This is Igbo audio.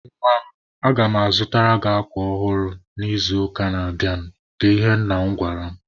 "Nwa m, aga mụ azụtara gị akwa ọhụrụ n'izuụka na-abịanụ", bụ ihe nna m gwara mụ.